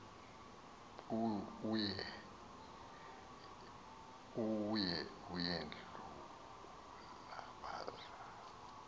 eye yedlula baza